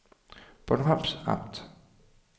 Bornholms Amt